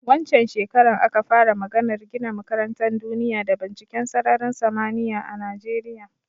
Wancen shekaran aka fara maganar gina makarantan duniya da binciken sararin samaniya a Najeriya